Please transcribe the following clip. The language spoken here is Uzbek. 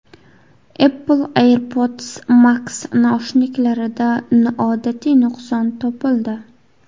Apple AirPods Max naushniklarida noodatiy nuqson topildi.